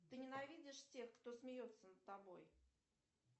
ты ненавидишь тех кто смеется над тобой